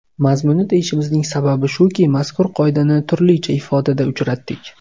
Mazmuni deyishimizning sababi shuki, mazkur qoidani turlicha ifodada uchratdik.